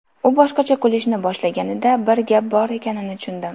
U boshqacha kulishni boshlaganida bir gap bor ekanini tushundim”.